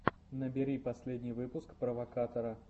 набери последний выпуск провокатора